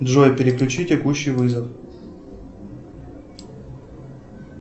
джой переключи текущий вызов